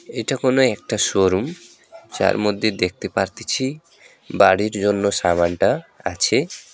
এটা কোনও একটা শোরুম যার মধ্যে দেখতে পারতেছি বাড়ির জন্য সামানটা আছে।